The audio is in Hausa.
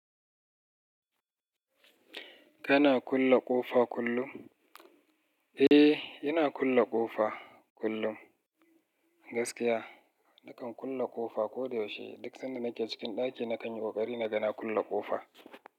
Kana kulle ƙofa kullum? Eh, ina kulle ƙofa kullum. Gaskiya, nakan kulle ƙofa ko da yaushe. Duk sanda nake cikin ɗaki, nakanyi ƙoƙari na gana kulle ƙofa.